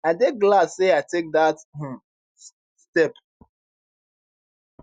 i dey glad say i take dat um step